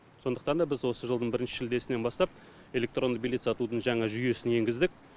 сондықтан да біз осы жылдың бірінші шілдесінен бастап электронды билет сатудың жаңа жүйесін енгіздік